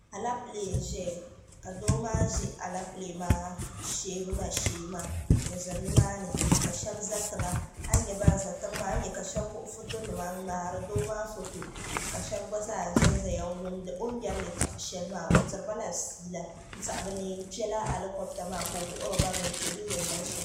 alɛpilɛ n ʒɛya ka doo maa ʒɛ alɛpilɛ maa sheebuna shee maa n ʒɛ nimaani ka shab ʒɛ tiŋa a yi nyɛ ban ʒɛ tiŋ maa ani nyɛ ka shab wuɣi foto nima n ŋmaari doo maa foto ka shab gba zaa ʒɛnʒɛya n wumdi o ni yɛri yɛltɔɣa shɛli maa o diribala fiila n tiɛha bi na yɛn kpɛla alikobita maa ka o wuhuriba bi ni kpɛ bi ni yɛn niŋ shɛm